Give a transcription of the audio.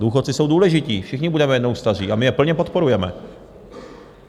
Důchodci jsou důležití, všichni budeme jednou staří, a my je plně podporujeme.